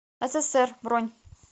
ссср бронь